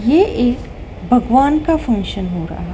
ये एक भगवान का फंक्शन हो रहा--